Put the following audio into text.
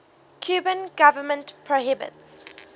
cuban government prohibits